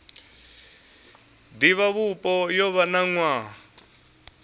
divhavhupo yo vha na nwaha